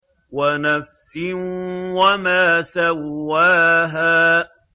وَنَفْسٍ وَمَا سَوَّاهَا